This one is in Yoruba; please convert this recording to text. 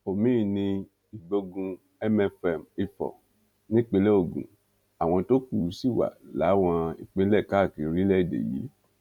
omiín ní ìgbógun mfm ifò nípínlẹ ogun àwọn tó kù sì wà láwọn ìpínlẹ káàkiri orílẹèdè yìí